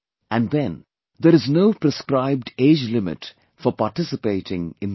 And then, there is no prescribed age limit for participating in them